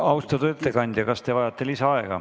Austatud ettekandja, kas te vajate lisaaega?